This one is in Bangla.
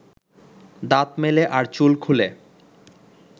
দাঁত মেলে আর চুল খুলে